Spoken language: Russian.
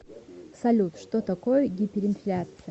салют что такое гиперинфляция